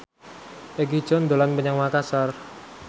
Egi John dolan menyang Makasar